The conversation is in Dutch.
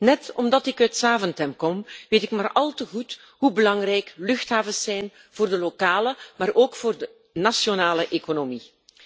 Net omdat ik uit Zaventem kom, weet ik maar al te goed hoe belangrijk luchthavens zijn voor de lokale, maar ook voor de nationale economie.